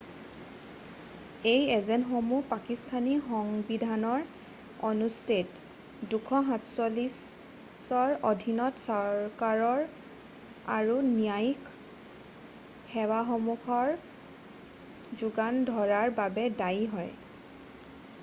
এই এজেন্টসমূহ পাকিস্থানী সংবিধানৰ অনুচ্ছেদ 247 ৰ অধীনত চৰকাৰ আৰু ন্যায়িক সেৱাসমূহক যোগান ধৰাৰ বাবে দায়ী হয়৷